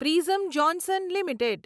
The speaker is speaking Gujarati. prism Johnson limited